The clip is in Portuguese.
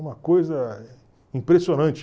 Uma coisa impressionante.